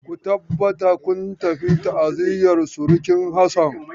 Ku tabbata kun tafi ta'aziyar surkin Hassan.